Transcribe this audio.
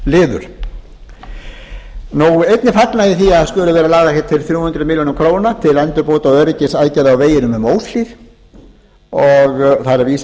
sérliður einnig fagna ég því að það skuli vera lagðar hér til þrjú hundruð milljóna króna til endurbóta og öryggisaðgerða á veginum um óshlíð þar er vísað